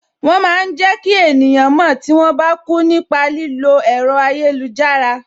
Wọn máa ń jẹ ki eniyan mo tí wọn bá kú nípa lílo ẹ̀rọ ayélujára